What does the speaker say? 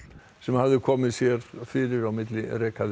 sem hafði komið sér fyrir á milli